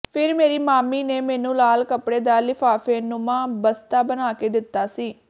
ਫਿਰ ਮੇਰੀ ਮਾਮੀ ਨੇ ਮੈਨੂੰ ਲਾਲ ਕੱਪੜੇ ਦਾ ਲਿਫਾਫੇਨੁਮਾ ਬਸਤਾ ਬਣਾਕੇ ਦਿੱਤਾ ਸੀ